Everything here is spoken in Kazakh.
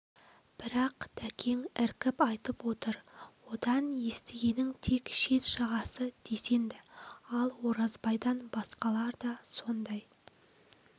бірақ дәкең іркіп айтып отыр одан естігенің тек шет жағасы десенді ал оразбайдан басқалар да сондай